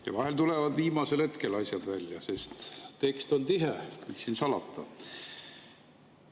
Ja vahel tulevad viimasel hetkel asjad välja, sest tekst on tihe, mis siin salata.